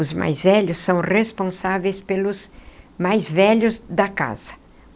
Os mais velhos são responsáveis pelos mais velhos da casa.